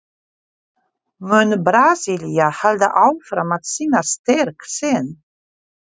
Mun Brasilía halda áfram að sýna styrk sinn?